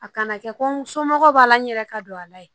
A kana kɛ ko n somɔgɔw b'a la n yɛrɛ ka don a la ye